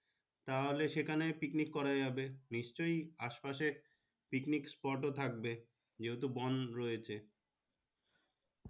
তাহলে সেখানে picnic করা যাবে নিশ্চয় আসে পাশে picnic sport ও থাকবে যে হেতু বন রয়েছে।